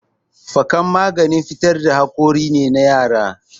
Fikan maganin fitar da hakori ne na yara